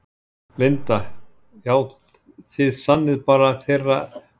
Linda: Já, þið sinnið bara þeirra þá kalli?